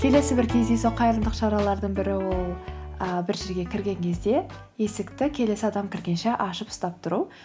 келесі бір кездейсоқ қайырымдылық шаралардың бірі ол і бір жерге кірген кезде есікті келесі адам кіргенше ашып ұстап тұру